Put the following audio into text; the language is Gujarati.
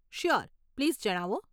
શ્યોર, પ્લીઝ જણાવો.